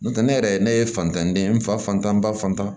N'o tɛ ne yɛrɛ ne ye fantanden ye n fa fantan n ba fan